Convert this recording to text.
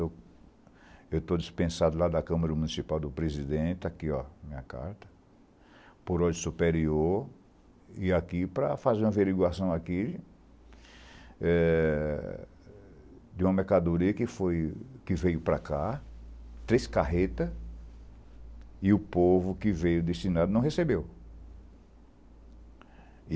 Eu eu estou dispensado lá da Câmara Municipal do Presidente, aqui ó, minha carta, por ordem superior, e aqui para fazer uma averiguação aqui eh de uma mercadoria que foi, que veio para cá, três carreta, e o povo que veio destinado não recebeu.